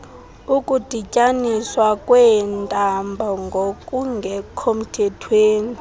ukudityaniswa kweentambo ngokungekhomthethweni